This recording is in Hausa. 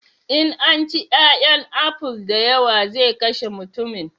In an ci 'ya'yan aful da yawa zai kashe mutummin